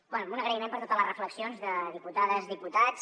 bé un agraïment per totes les reflexions de diputades diputats